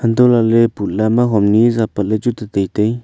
hantoh lah ley putla ma hom niza pat ley chu tetai tai.